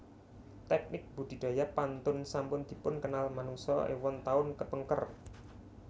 Teknik budidaya pantun sampun dipunkenal manungsa éwon taun kepengker